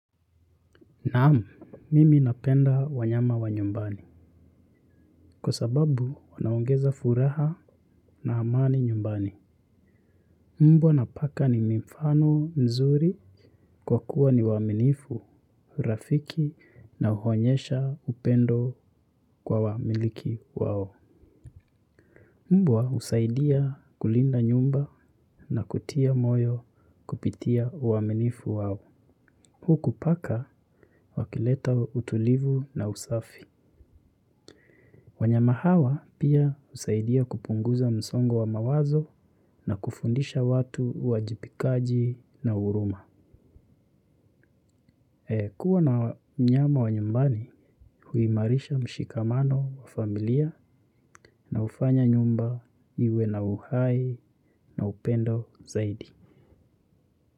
Naam, mimi napenda wanyama wa nyumbani kwa sababu wanaongeza furaha na amani nyumbani. Mbwa na paka ni mifano mizuri kwa kuwa ni waaminifu, rafiki na huonyesha upendo kwa wamiliki wao. Mbwa usaidia kulinda nyumba na kutia moyo kupitia waminifu wao. Huku paka wakileta utulivu na usafi. Wanyama hawa pia husaidia kupunguza msongo wa mawazo na kufundisha watu uwajibikaji na huruma. Kuwa na nyama wa nyumbani huimarisha mshikamano wa familia na hufanya nyumba iwe na uhai na upendo zaidi.